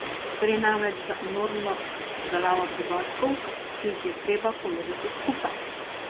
Gre namreč za enormno obdelavo podatkov, ki jih je treba povezati skupaj.